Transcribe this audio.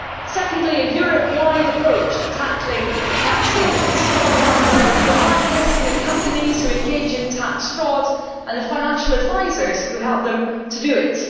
secondly, a Europe wide approach to tackling tax havens and thirdly, the blacklisting of companies who engage in tax fraud and the financial advisors who help them to do it.